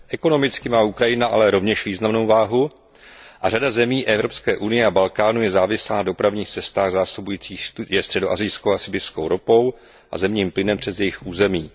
Ekonomicky má Ukrajina ale rovněž významnou váhu a řada zemí Evropské unie a Balkánu je závislá na dopravních cestách zásobujících je středoasijskou a sibiřskou ropou a zemním plynem přes jejich území.